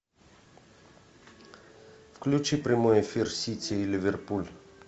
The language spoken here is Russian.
включи прямой эфир сити и ливерпуль